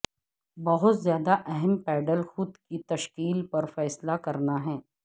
بہت زیادہ اہم پیڈل خود کی تشکیل پر فیصلہ کرنا ہے